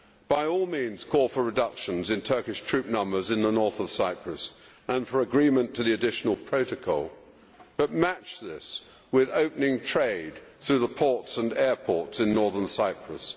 By all means call for reductions in Turkish troop numbers in the north of Cyprus and for agreement to the Additional Protocol, but match this with opening trade through the ports and airports in Northern Cyprus.